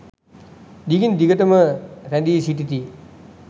දිගින් දිගට ම රැඳී සිටිති.